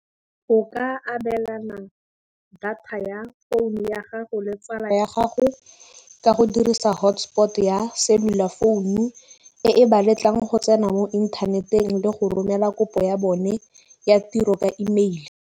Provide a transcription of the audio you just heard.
O ka abelana data ya founu ya gago le tsala ya gago ka go dirisa hotspot ya cellular founu, e e ba letlang go tsena mo inthaneteng le go romela kopo ya bone ya tiro ka email.